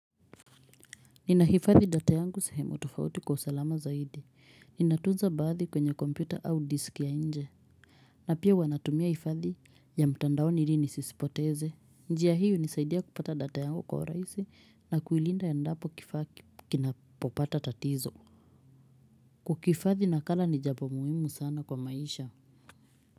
Ninahifadhi data yangu sehemu tofauti kwa usalama zaidi. Ninatunza baadhi kwenye kompyuta au disk ya nje. Na pia huwa natumia hifadhi ya mtandao ili nisizipoteze. Njia hii hunisaidia kupata data yangu kwa urahisi na kuilinda endapo kifaa kinapopata tatizo. Kukihifadhi nakala ni jambo muhimu sana kwa maisha.